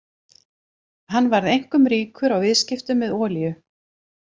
Hann varð einkum ríkur á viðskiptum með olíu.